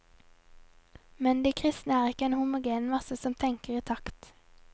Men de kristne er ikke en homogen masse som tenker i takt.